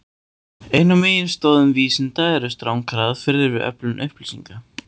Ein af meginstoðum vísinda eru strangar aðferðir við öflun upplýsinga.